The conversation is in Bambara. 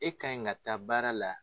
E ka ɲi ka taa baara la.